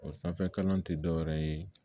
O sanfɛ kalan ti dɔwɛrɛ ye